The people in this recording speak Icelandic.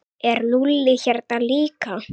Er Lúlli hérna líka?